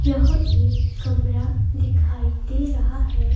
यह एक कमरा दिखाई दे रहा है.